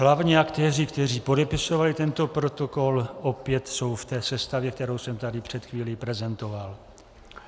Hlavní aktéři, kteří podepisovali tento protokol, opět jsou v té sestavě, kterou jsem tady před chvílí prezentoval.